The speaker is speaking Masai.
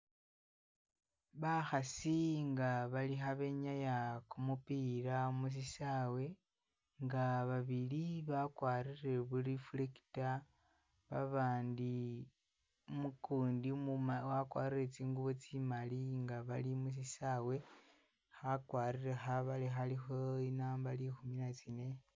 Bakhasi nga bali kha benyaaya kumupila musisawe nga babili bakwarire bu reflector, babandi ukundi umu wakwarire tsingubo tsimali nga bali musyisawe, khakwarire khabale khalikho inamba likhumi na tsine.